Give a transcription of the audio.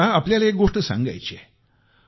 मला तुम्हाला एक गोष्ट सांगायची आहे